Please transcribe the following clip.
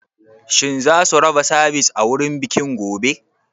Shin zasu raba Sivice a wurin bikin gobe?